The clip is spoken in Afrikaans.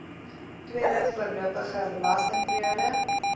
tweede voorlopige belastingperiode